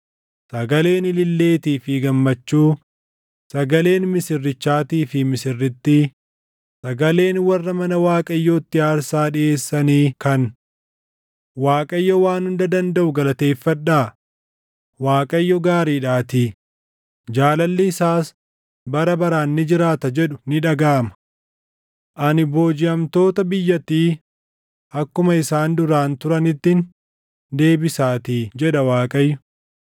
sagaleen ililleetii fi gammachuu, sagaleen misirrichaatii fi misirrittii, sagaleen warra mana Waaqayyootti aarsaa dhiʼeessanii kan, “ Waaqayyo Waan Hunda Dandaʼu galateeffadhaa; Waaqayyo gaariidhaatii; jaalalli isaas bara baraan ni jiraata” jedhu ni dhagaʼama. Ani boojiʼamtoota biyyattii akkuma isaan duraan turanittin deebisaatii’ jedha Waaqayyo.